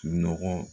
Sunɔgɔ